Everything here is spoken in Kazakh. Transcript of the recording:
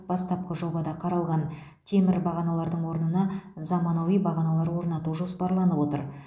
бастапқы жобада қаралған темір бағаналардың орнына заманауи бағаналар орнату жоспарланып отыр